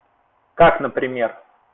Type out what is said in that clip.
как например